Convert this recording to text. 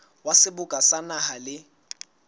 wa seboka sa naha le